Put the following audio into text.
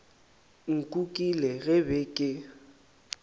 nkukile ge ke be ke